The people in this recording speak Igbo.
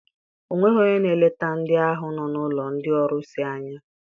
O nweghị onye n'eleta ndị ahụ nọ n'ụlọ ndị ọrusi anya.